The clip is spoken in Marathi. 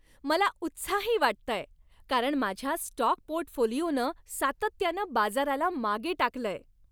मला उत्साही वाटतंय, कारण माझ्या स्टॉक पोर्टफोलिओनं सातत्यानं बाजाराला मागे टाकलंय.